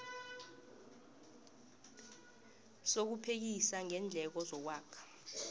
sokuphekisa ngeendleko zokwakha